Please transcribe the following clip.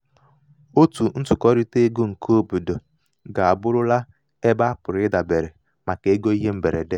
otu ntụkọrịta ego keobodo ga abụrụla ebe a pụrụ idabere um pụrụ idabere um maka ego ihe mberede.